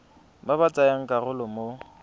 ba ba tsayang karolo mo